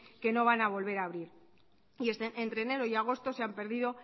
que no vana a volver a abrir y entre enero y agosto se han perdido